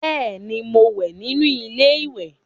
Beeni, mo wẹ́ nínú ilé ìwẹ̀